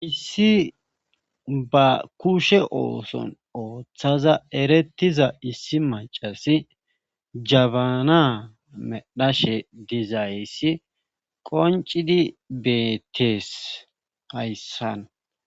Issi ba kushe ooson ooththaza erettiza issi macasi jabana medhashe dizayssi qoncidi beettees hayssan.